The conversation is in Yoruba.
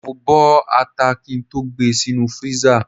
Mo bọ ata kí n tó gbe sínú freezer.